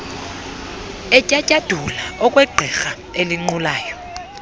etyatyadula okwegqirha elinqulayo